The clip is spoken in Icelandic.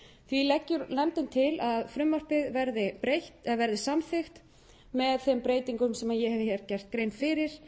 því leggur nefndin til að frumvarpið verði samþykkt með þeim breytingum sem ég hef hér gert grein fyrir